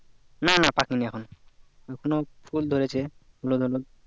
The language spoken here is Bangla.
না না পাকেনি এখন এখনো ফুল ধরেছে হলুদ হলুদ